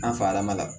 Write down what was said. An fa ma ka